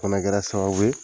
Fɛnɛ kɛra sababu ye